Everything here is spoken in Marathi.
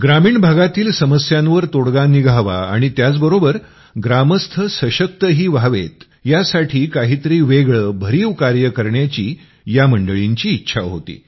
ग्रामीण भागातील समस्यांवर तोडगा निघावा आणि त्याचबरोबर गामस्थ सशक्तही व्हावेत यासाठी काहीतरी वेगळं भरीव कार्य करण्याची या मंडळींची इच्छा होती